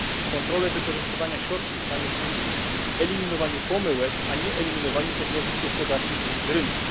Kontrole wykorzystywania środków mają służyć eliminowaniu pomyłek, a nie eliminowaniu podmiotów gospodarczych z rynku.